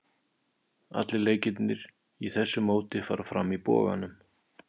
Allir leikirnir í þessu móti fara fram í Boganum.